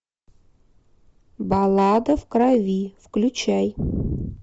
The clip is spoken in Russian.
баллада в крови включай